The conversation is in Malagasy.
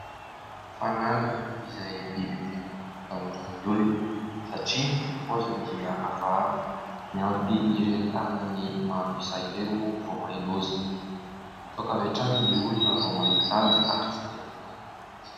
Fanala izay biby tena atahoran'ny olona satria ny paoziny dia hafahafa, miampy ireny tanany maro isa ireny moa voamay loza. Mitsoaka avy hatrany ny olona vao mahita azy ary tsy te hanakaiky mihitsy.